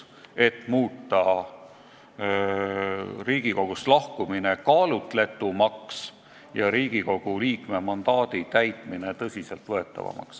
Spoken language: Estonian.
Me soovime muuta Riigikogust lahkumise kaalutletumaks ja Riigikogu liikme mandaadi täitmise tõsiselt võetavamaks.